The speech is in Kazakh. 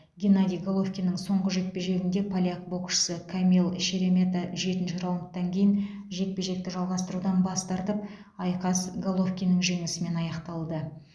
геннадий головкиннің соңғы жекпе жегінде поляк боксшысы камил шеремета жетінші раундтан кейін жекпе жекті жалғастырудан бас тартып айқас головкиннің жеңісімен аяқталды